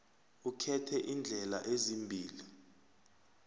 ukhethe iindlela ezimbili